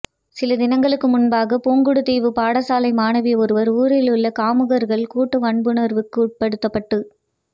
சில தினங்களுக்கு முன்பாக புங்குடுதீவில் பாடசாலை மாணவி ஒருவர் ஊரில் உள்ள காமுகர்களால் கூட்டு வன்புணர்வுக்குட்படுத்தப்பட்டு